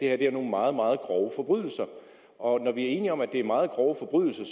er nogle meget meget grove forbrydelser og når vi er enige om at det er meget grove forbrydelser